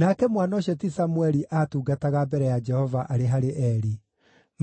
Nake mwana ũcio ti Samũeli aatungataga mbere ya Jehova arĩ harĩ Eli.